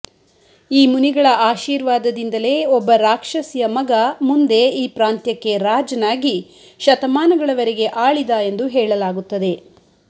ಈ ಮುನಿಗಳ ಆಶಿರ್ವಾದದಿಂದಲೆ ಒಬ್ಬ ರಾಕ್ಷಸಿಯ ಮಗ ಮುಂದೆ ಈ ಪ್ರಾಂತ್ಯಕ್ಕೆ ರಾಜನಾಗಿ ಶತಮಾನಗಳವರೆಗೆ ಆಳಿದ ಎಂದು ಹೇಳಲಾಗುತ್ತದೆ